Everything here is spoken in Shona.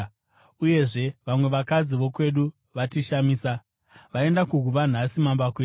Uyezve vamwe vakadzi vokwedu vatishamisa. Vaenda kuguva nhasi mambakwedza